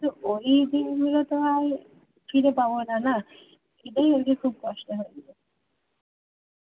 ওই দিনগুলো তো আর ফিরে পাবোনা না এটাই হচ্ছে খুব কষ্ট হয়